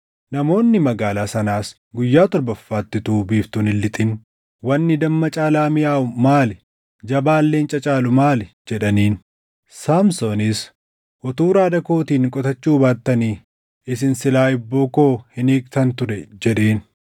Namoonni magaalaa sanaas guyyaa torbaffaatti utuu biiftuun hin lixin, “Wanni damma caalaa miʼaawu maali? Jabaan leenca caalu maali?” jedhaniin. Saamsoonis, “Utuu raada kootiin qotachuu baattanii, isin silaa hibboo koo hin hiiktan ture” jedheen.